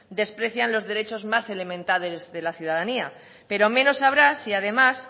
desprecian los derechos más elementales de la ciudadanía pero menos habrá si además